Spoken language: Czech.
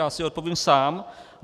Já si odpovím sám.